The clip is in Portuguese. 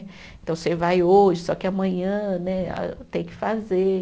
Então, você vai hoje, só que amanhã né a tem que fazer.